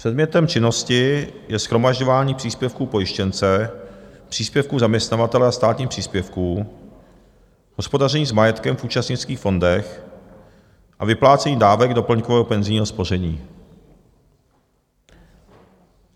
Předmětem činnosti je shromažďování příspěvků pojištěnce, příspěvků zaměstnavatele a státních příspěvků, hospodaření s majetkem v účastnických fondech a vyplácení dávek doplňkového penzijního spoření.